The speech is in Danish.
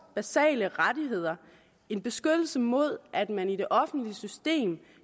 basale rettigheder en beskyttelse mod at man i det offentlige system